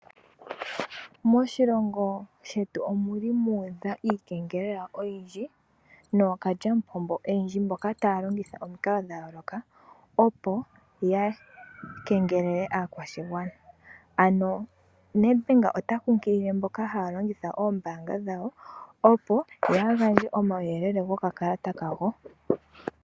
Moshilongo shetu omuli muudha iikengelela oyindji nookalyamupombo oyendji mboka taya longitha omikalo dhayooloka opo yakengelele aakwashigwana. Ano Nedbank otakunkilile mboka haya longitha oombaanga dhawo opo yaagandje omawuyelele gokakalata kawo.